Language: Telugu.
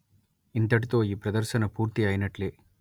ఇంతటితో ఈ ప్రదర్శన పూర్తి అయినట్లే